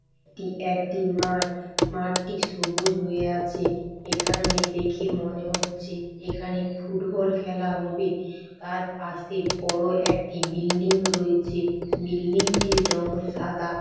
এটি একটি মাঠ মাঠটি সবুজ হয়ে আছে এখানে দেখে মনে হচ্ছে এখানে ফুটবল খেলা হবে তার পাশে বড় একটি বিল্ডিং রয়েছে বিল্ডিং টির রং সাদা।